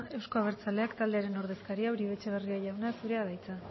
euzko abertzaleak taldearen ordezkaria uribe etxebarria jauna zurea da hitza